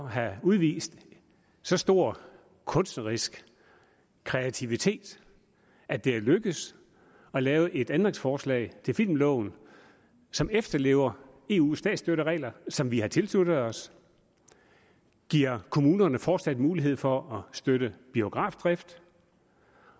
have udvist så stor kunstnerisk kreativitet at det er lykkedes at lave et ændringsforslag til filmloven som efterlever eus statsstøtteregler som vi har tilsluttet os giver kommunerne fortsat mulighed for at støtte biografdrift